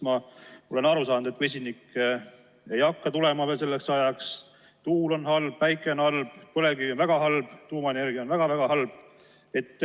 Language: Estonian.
Ma olen aru saanud, et vesinik ei hakka tulema veel selleks ajaks, tuul on halb, päike on halb, põlevkivi on väga halb, tuumaenergia on väga-väga halb.